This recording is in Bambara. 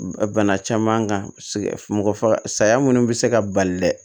Bana caman kan mɔgɔ faga sa saya minnu bɛ se ka bali dɛ